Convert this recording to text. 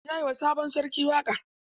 Ya yi wa sabon sarki waƙa?